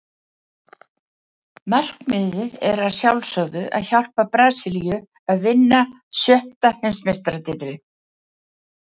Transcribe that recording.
Markmiðið er að sjálfsögðu að hjálpa Brasilíu að vinna sjötta Heimsmeistaratitilinn.